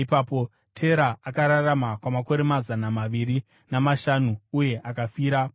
Tera akararama kwamakore mazana maviri namashanu, uye akafira paHarani.